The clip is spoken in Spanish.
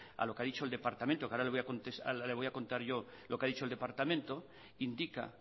a lo que ha dicho el departamento que ahora le voy a contar yo lo que ha dicho el departamento indica